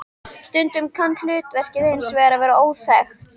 Stundum kann hlutverkið hins vegar að vera óþekkt.